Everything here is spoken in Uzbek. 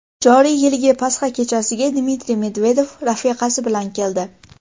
Joriy yilgi pasxa kechasiga Dmitriy Medvedev rafiqasi bilan keldi.